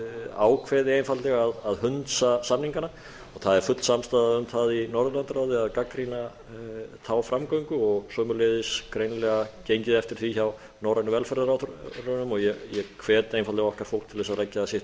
ákveði einfaldlega að hunsa samningana það er full samstaða um það í norðurlandaráði að gagnrýna þá framgöngu sömuleiðis greinilega gengið eftir því hjá norrænu velferðarráðherrunum ég hvet einfaldlega okkar fólk til þess að leggja sitt lóð